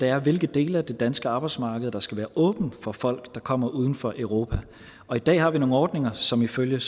er hvilke dele af det danske arbejdsmarked der skal være åbent for folk der kommer udenfor europa i dag har vi nogle ordninger som ifølge